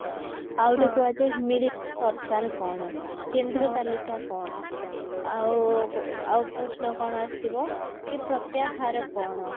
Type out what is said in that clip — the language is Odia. ଆଉଗୋଟେ କୁହାଯାଏ ମିଳିତ ସରକାର କଣ କେନ୍ଦ୍ର ତାଲିକା କଣ ଆଉ ଆଉ ପ୍ରଶ୍ନ କଣ ଆସିବ କି ପ୍ରତ୍ୟାହାର କଣ?